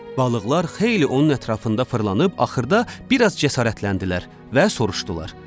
Balıqlar xeyli onun ətrafında fırlanıb axırda bir az cəsarətləndilər və soruşdular: